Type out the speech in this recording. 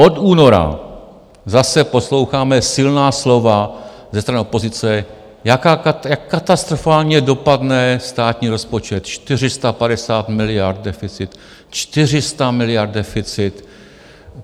Od února zase posloucháme silná slova ze strany opozice, jak katastrofálně dopadne státní rozpočet - 450 miliard deficit, 400 miliard deficit.